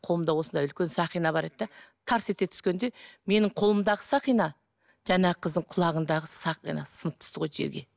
қолымда осындай үлкен сақина бар еді де тарс ете түскенде менің қолымдағы сақина жаңағы қыздың құлағындағы сақинасы сынып түсті ғой жерге